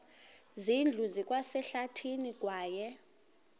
zindlu zikwasehlathini kwaye